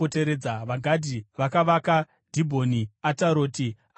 VaGadhi vakavaka Dhibhoni, Ataroti, Aroeri,